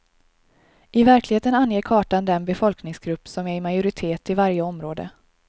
I verkligheten anger kartan den befolkningsgrup som är i majoritet i varje område.